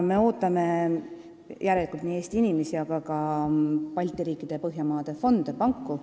Me ootame ostma nii Eesti inimesi kui ka Balti riikide ja Põhjamaade fonde, panku.